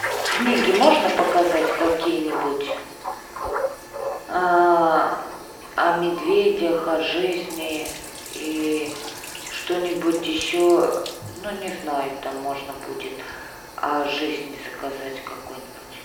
книги можно показать какие нибудь о медведях о жизни и что нибудь еще ну не знаю там можно будет о жизни заказать какой нибудь